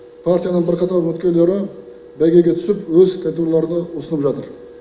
партияның бірқатар үміткерлері бәйгеге түсіп өз кандидатураларын ұсынып жатыр